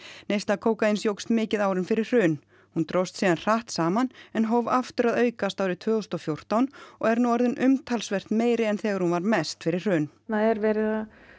neysla kókaíns jókst mikið árin fyrir hrun hún dróst síðan hratt saman en hóf aftur að aukast árið tvö þúsund og fjórtán og er nú orðin umtalsvert meiri en þegar hún var mest fyrir hrun þarna er verið